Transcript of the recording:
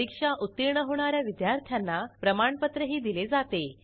परीक्षा उत्तीर्ण होणा या विद्यार्थ्यांना प्रमाणपत्रही दिले जाते